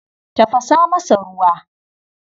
Tafasa masa ruwa.